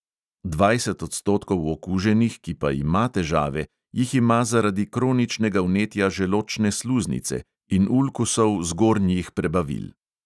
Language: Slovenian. Dvajset odstotkov okuženih, ki pa ima težave, jih ima zaradi kroničnega vnetja želodčne sluznice in ulkusov zgornjih prebavil.